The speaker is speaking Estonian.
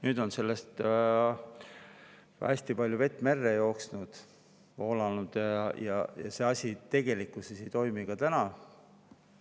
Nüüd on sellest ajast hästi palju vett merre voolanud, aga see asi tegelikkuses ei toimi ka täna.